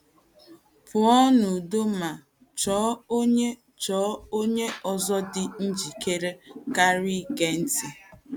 Pụọ n’udo ma chọọ onye chọọ onye ọzọ dị njikere karị ige ntị.